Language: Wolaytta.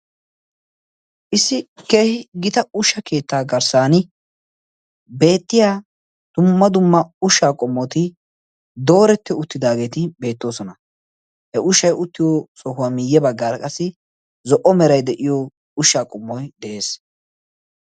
Issi keehi gita ushsha keettaa garssan beettiya dumma dumma ushaa qommoti dooretti uttidaageeti beettoosona. He ushshay uttiyo sohuwaa miiyye baggara qassi zo'o meray de'iyo ushshaa qommoy de'ees.